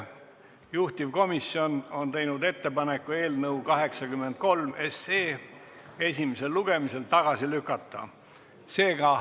Juhtivkomisjon on teinud ettepaneku eelnõu 83 esimesel lugemisel tagasi lükata.